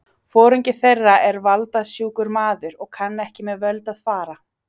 Foringi þeirra er valda- sjúkur maður og kann ekki með völd að fara.